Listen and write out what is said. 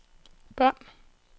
bånd